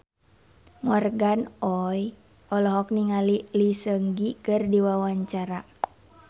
Morgan Oey olohok ningali Lee Seung Gi keur diwawancara